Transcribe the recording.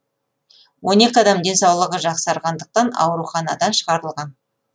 он екі адам денсаулығы жақсарғандықтан ауруханадан шығарылған